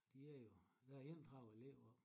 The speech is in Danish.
De er jo der er 31 elever